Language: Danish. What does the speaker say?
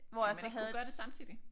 Ville man ikke kunne gøre det samtidigt?